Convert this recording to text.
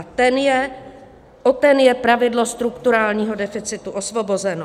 A o ten je pravidlo strukturálního deficitu osvobozeno.